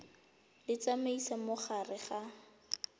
di tsamaisa mo gare ga